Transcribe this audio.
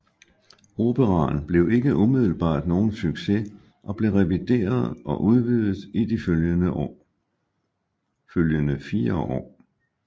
Operaen blev ikke umiddelbart nogen succes og blev revideret og udvidet i de følgende fire år